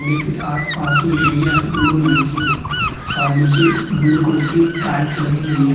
लेकिन आस-पास जो एरिया है ब्लू रंग की है और नीचे ब्लू कलर के टाइल्स लगी हुई है।